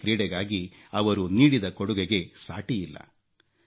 ಹಾಕಿ ಕ್ರೀಡೆಗಾಗಿ ಅವರು ನೀಡಿದ ಕೊಡುಗೆಗೆ ಸಾಟಿಯಿಲ್ಲ